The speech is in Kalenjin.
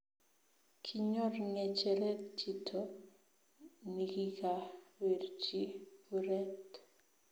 Kinyor ngecheret chito nikikabirchi kuret